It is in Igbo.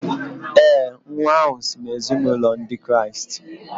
ee, nwa ahụ si n’ezinụlọ Ndị Kraịst